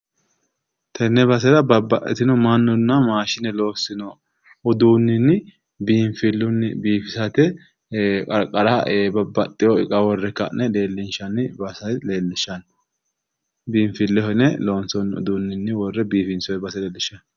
Tenne basera babbaxxitino mannunna maashine loossino uduunninni biinfillunni bifisate qarqara babbaxxewo iqa worre leellinshanni base leellishshanno. biinfilleho yine loonsoonni uduunninni worre biifinsoye base leellishshanno.